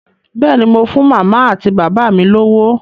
Bẹ́ẹ̀ ni, mo fún màmá àti bàbá mi lówó.